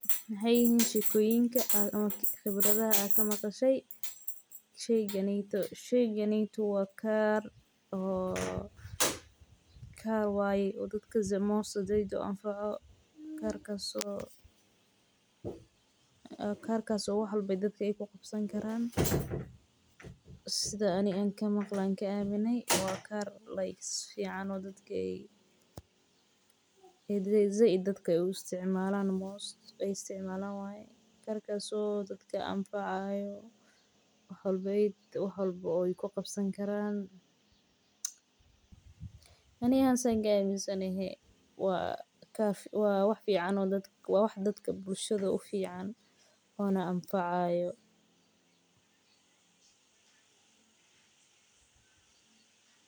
Maxaay yihin shego yinka aad siwirtada ka maqasha, shegoyinka wa care oo care waya dadka oo anfaco carekas oo, carekas oo wax walbo dadka ay ku qabsani karan, side aniga an ka maqli ama an ka amin waa care fican oo dadka ay said usticmalan must lee waya so dadka an facayo, wax walbo ooy ku qabsanikaran, aniga ahan side ka aminsanaha wa wax fican oo dadka wa wax dadka bulshada u fican oo na anfacayo.